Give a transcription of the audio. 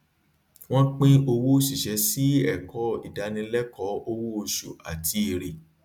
wọn pín owó òṣìṣẹ sí ẹkọ ìdánilẹkọọ owó oṣù àti èrè